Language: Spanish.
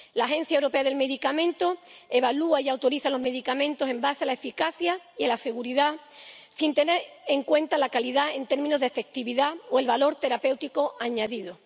La Agencia Europea de Medicamentos evalúa y autoriza los medicamentos en base a la eficacia y a la seguridad, sin tener en cuenta la calidad en términos de efectividad o el valor terapéutico añadido.